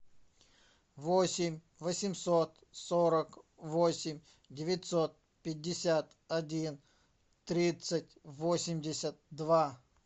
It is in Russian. восемь восемьсот сорок восемь девятьсот пятьдесят один тридцать восемьдесят два